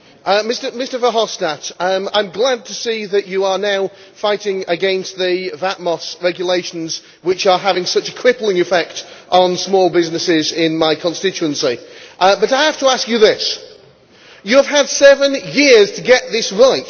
Mr Verhofstadt, I am glad to see that you are now fighting against the VAT MOSS regulations which are having such a crippling effect on small businesses in my constituency, but I have to ask you this you have had seven years to get this right.